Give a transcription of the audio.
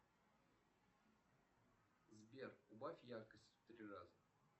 сбер убавь яркость в три раза